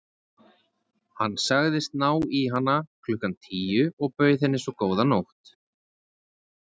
Hann sagðist ná í hana klukkan tíu og bauð henni svo góða nótt.